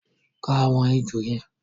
Ka àwọn èjò yẹn!